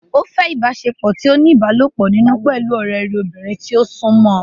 Ó fẹ́ ìbáṣepọ̀ tí ó ní ìbálòpọ̀ nínú pẹ̀lú ọ̀rẹ́ rẹ̀ obìnrin tí ó súnmọ́ ọn